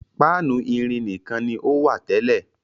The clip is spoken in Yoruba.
Páánù irin nìkan ni ó wà tẹ́lẹ̀.